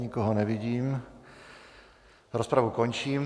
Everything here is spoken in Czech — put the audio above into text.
Nikoho nevidím, rozpravu končím.